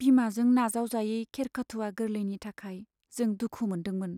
बिमाजों नाजावजायै खेरखेथुवा गोरलैनि थाखाय जों दुखु मोनदोंमोन।